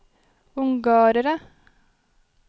ungarere